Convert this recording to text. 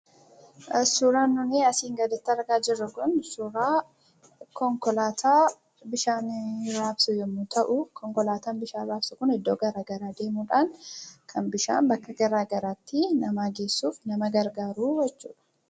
Suuraan nuunii asii gadiitti argaa jirru kun, suuraa konkolaataa bishaan rabsu yemmuu ta'u, konkolaataan bishaan rabsu kun iddoo gara garaa deemuudhaan kan bishaan bakka garagaraatti namaa geessuuf nama gargaaruu jechuudha.